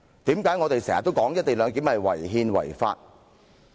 為何我們經常說"一地兩檢"違憲違法？